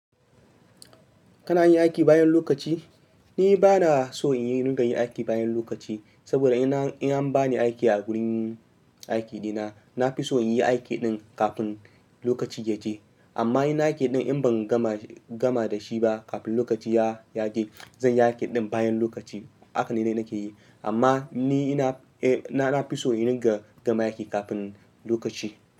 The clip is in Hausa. Kana yin aiki bayan lokaci? Ni ba na so in yi rigar yin aiki bayan lokaci, saboda in an ba ni aiki a wurin aiki ɗina, na fi so in yi aiki ɗin kafin lokaci ya je. Amma in nayi aiki din in ban gama dasi ba zanyi aiki din bayan lokaci. Haka ne dai nake yi. Amma ni na fi so in ringa gama aiki kafin lokaci.